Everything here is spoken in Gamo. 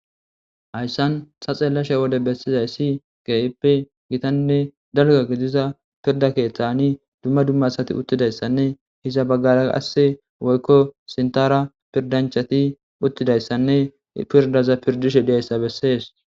Hayssan sa xeellashe wode bessizay si gayippe gitanne dalga gidiza pirda keeththani dumma dummasati uttidayssanne hiza baggara qasse woykko sintara pirdanchati uttidayssanne pirdaza pirdishe diyayssa bessees.